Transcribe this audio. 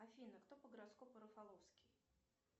афина кто по гороскопу рафаловский